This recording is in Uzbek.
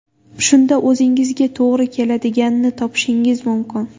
Shunda o‘zingizga to‘g‘ri keladiganini topishingiz mumkin.